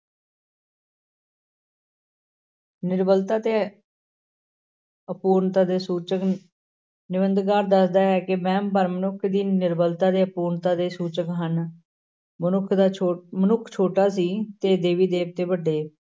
ਨਿਰਬਲਤਾ ਤੇ ਅਪੂਰਨਤਾ ਦੇ ਸੂਚਕ, ਨਿਬੰਧਕਾਰ ਦੱਸਦਾ ਹੈ ਕਿ ਵਹਿਮ ਭਰਮ ਮਨੁੱਖ ਦੀ ਨਿਰਬਲਤਾ ਤੇ ਅਪੂਰਤਾ ਦੇ ਸੂਚਕ ਹਨ, ਮਨੁੱਖ ਦਾ ਛੋ~ ਮਨੁੱਖ ਛੋਟਾ ਸੀ ਤੇ ਦੇਵੀ ਦੇਵਤੇ ਵੱਡੇ।